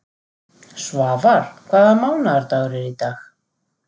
Svafar, hvaða mánaðardagur er í dag?